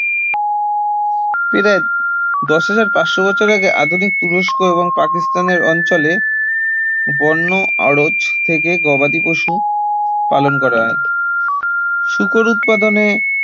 প্রায় দশ হাজার পাঁচশ বছর আগে আধুনিক তুরস্ক এবং পাকিস্তানের অঞ্চলে বন্য আরোচ থেকে গবাদি পশু পালন করা হয় শূকর উৎপাদনে